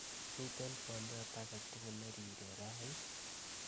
miten twolyot agetugul nerire raa ii